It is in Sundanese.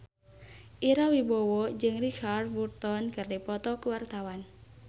Ira Wibowo jeung Richard Burton keur dipoto ku wartawan